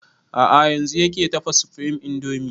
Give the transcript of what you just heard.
A'a yanzun yake tafa supreme indomie